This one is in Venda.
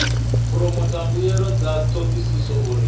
phoromotha mbuelo dza thodisiso uri